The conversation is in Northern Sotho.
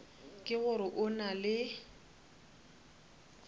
ke gore o na le